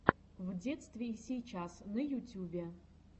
в детстве и сейчас на ютюбе